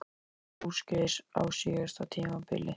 Hvað fór úrskeiðis á síðasta tímabili?